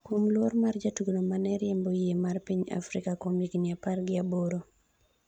kuom luor mar jatugono mane riembo yie mar piny Afrika kuom higni apar gi aboro